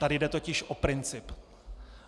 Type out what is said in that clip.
Tady jde totiž o princip.